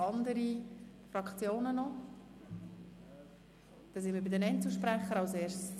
Somit kommen wir zu den Einzelsprechenden.